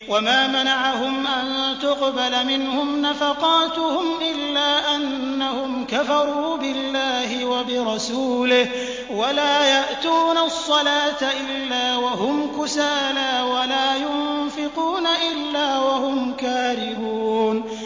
وَمَا مَنَعَهُمْ أَن تُقْبَلَ مِنْهُمْ نَفَقَاتُهُمْ إِلَّا أَنَّهُمْ كَفَرُوا بِاللَّهِ وَبِرَسُولِهِ وَلَا يَأْتُونَ الصَّلَاةَ إِلَّا وَهُمْ كُسَالَىٰ وَلَا يُنفِقُونَ إِلَّا وَهُمْ كَارِهُونَ